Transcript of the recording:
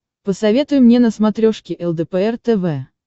посоветуй мне на смотрешке лдпр тв